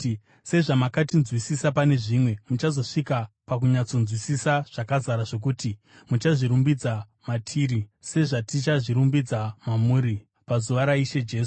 sezvamakatinzwisisa pane zvimwe, muchazosvika pakunyatsotinzwisisa zvakazara zvokuti muchazvirumbidza matiri sezvatichazvirumbidza mamuri, pazuva raIshe Jesu.